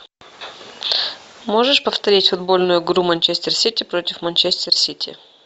можешь повторить футбольную игру манчестер сити против манчестер сити